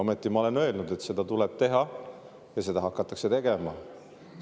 Ometi ma olen öelnud, et seda tuleb teha, ja seda hakatakse tegema.